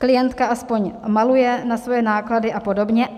Klientka aspoň maluje na své náklady a podobně.